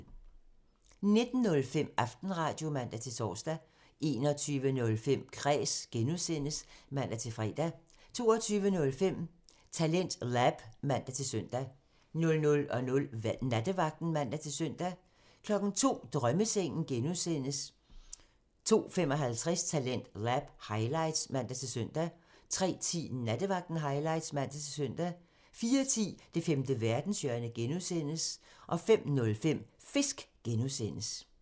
19:05: Aftenradio (man-tor) 21:05: Kræs (G) (man-fre) 22:05: TalentLab (man-søn) 00:00: Nattevagten (man-søn) 02:00: Drømmesengen (G) (man) 02:55: Talentlab highlights (man-søn) 03:10: Nattevagten highlights (man-søn) 04:10: Det femte verdenshjørne (G) (man) 05:05: Fisk (G) (man)